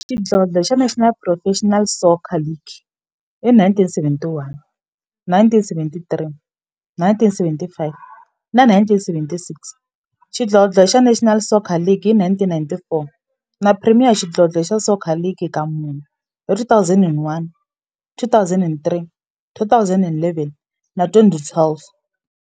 Xidlodlo xa National Professional Soccer League hi 1971, 1973, 1975 na 1976, xidlodlo xa National Soccer League hi 1994, na Premier Xidlodlo xa Soccer League ka mune, hi 2001, 2003, 2011 na 2012.